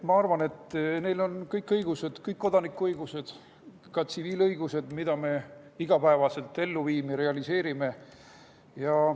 Ma arvan, et neil on kõik õigused, kõik kodanikuõigused, ka tsiviilõigused, mida me iga päev ellu viime, realiseerime.